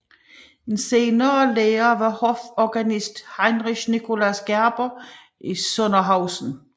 En senere lærer var hoforganisten Heinrich Nicolaus Gerber i Sondershausen